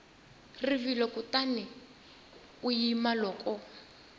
rivilo kutani u yima loko